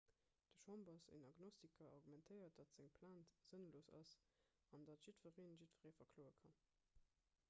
den chambers en agnostiker argumentéiert datt seng plainte sënnlos ass an datt"jiddweree jiddweree verkloe kann.